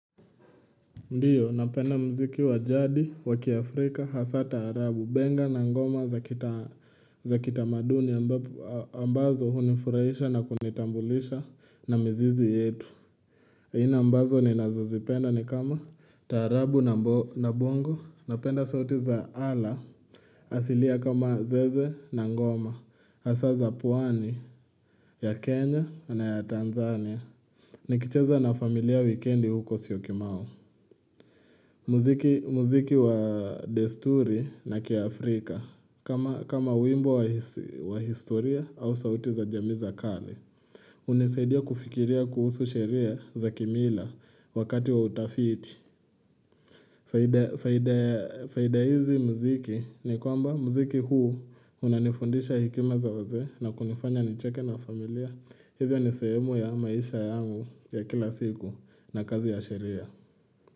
Ndio napenda muziki wa jadi waki afrika hasa taarabu benga na ngoma za kita maduni ambazo hunifurahisha na kunitambulisha na mizizi yetu zingine mbazo ninazazipenda ni kama taarabu na bongo napenda sauti za ala asilia kama zeze na ngoma hasa za pwani ya kenya na ya tanzania nikicheza na familia wikendi huko syokimau muziki wa desturi na kia Afrika kama kama wimbo wa historia au sauti za jamii za kale hunisaidia kufikiria kuhusu sheria za kimila wakati wa utafiti faida hizi muziki ni kwamba muziki huu unanifundisha hekima za wazee na kunifanya nicheke na familia Hivyo ni sehemu ya maisha yangu ya kila siku na kazi ya sheria.